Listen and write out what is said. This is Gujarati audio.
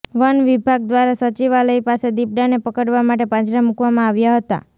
વન વિભાગ દ્વારા સચિવાલય પાસે દીપડાને પકડવા માટે પાંજરા મૂકવામાં આવ્યા હતા